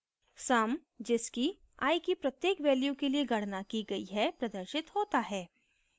sum जिसकी i की प्रत्येक value के लिए गणना की गई है प्रदर्शित होता है